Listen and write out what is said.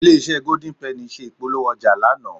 Ilé-iṣẹ́ Golden penny ṣe ìpolówó ọjà lánàá